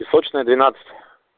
песочная двенадцать